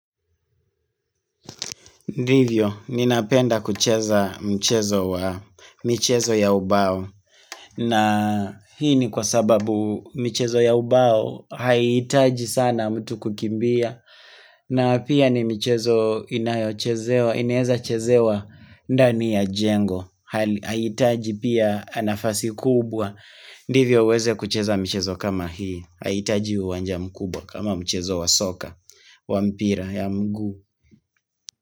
Ndivyo, ninapenda kucheza mchezo wa michezo ya ubao, na hii ni kwa sababu michezo ya ubao haitaji sana mtu kukimbia, na pia ni michezo inayeza chezewa ndani ya jengo, haitaji pia nafasi kubwa, ndivyo uweze kucheza mchezo kama hii, haitaji uwanja mkubwa kama mchezo wa soka, wa mpira ya mguu.